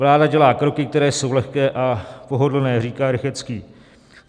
Vláda dělá kroky, které jsou lehké a pohodlné, říká Rychetský.